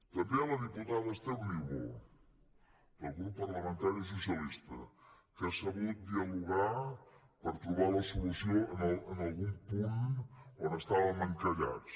també a la diputada esther niubó del grup parlamentari socialista que ha sabut dialogar per trobar la solució en algun punt on estàvem encallats